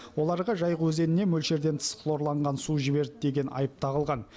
оларға жайық өзеніне мөлшерден тыс хлорланған су жіберді деген айып тағылған